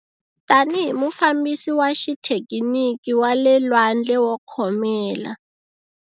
Tanihi mufambisi wa xithekiniki wa le lwandle wo khomela.